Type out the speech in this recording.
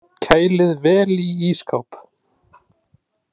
Kælið vel í ísskáp.